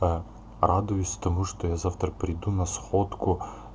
а радуюсь потому что я завтра приду на сходку